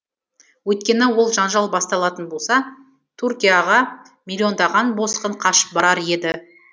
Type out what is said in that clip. өйткені ол жанжал басталатын болса түркияға миллиондаған босқын қашып барар еді